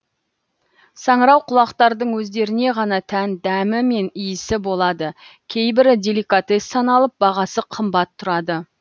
саңырауқұлақтардың өздеріне ғана тән дәмі мен иісі болады кейбірі деликатес саналып бағасы қымбат тұрады